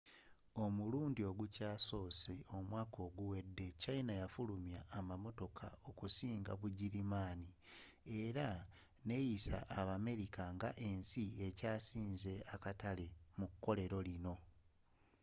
omulundi ogukyasoose omwaka oguwedde china yafulumya amamotoka okusinga bugirimaani era neyisa abamerika ngensi ekyasinze akatale mu kkolero lino